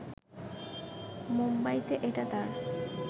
মুম্বাইতে এটা তাঁর